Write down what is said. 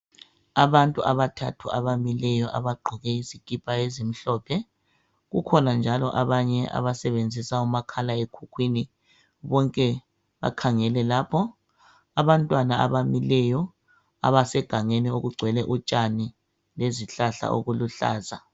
Abantu abathathu abamileyo abagqoke izikipha ezimhlophe, kukhona njalo abanye abasebenzisa umakhala ekhukhwini bonke bakhangele lapho. Abantwana abamileyo abasegangeni okugcwele utshani lezihlahla okuluhlaza